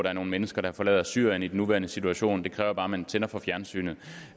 er nogle mennesker der forlader syrien i den nuværende situation det kræver bare at man tænder for fjernsynet